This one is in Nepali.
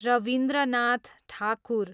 रवीन्द्रनाथ ठाकुर